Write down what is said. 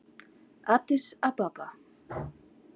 Addis Ababa